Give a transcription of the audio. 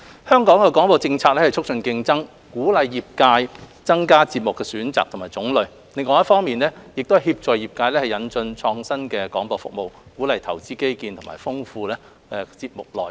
香港的廣播政策是促進競爭，鼓勵業界增加節目的選擇和種類，另一方面亦協助業界引進創新的廣播服務，鼓勵投資基建及豐富節目內容。